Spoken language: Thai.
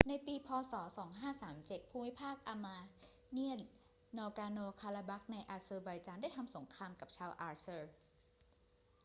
ในปี พ. ศ. 2537 ภูมิภาคอาร์มาเนียน นากอร์โน-คาราบัคในอาเซอร์ไบจานได้ทำสงครามกับชาวอาเซอร์